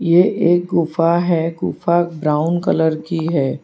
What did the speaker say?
ये एक गुफा है गुफा ब्राउन कलर की है।